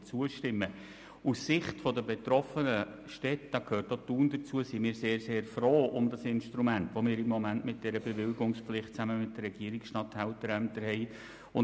Aus Sicht der betroffenen Städte – dazu gehört auch Thun – sind wir sehr, sehr froh um dieses Instrument, wie wir es im Moment mit dieser Bewilligungspflicht zusammen mit den Regierungsstatthalterämtern haben.